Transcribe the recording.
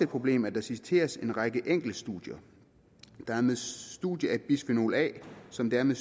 problem at der citeres fra en række enkeltstudier det er med studiet af bisfenol a som det er med